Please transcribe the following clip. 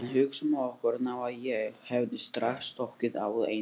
En hugsum okkur nú að ég hefði strax stokkið á Einar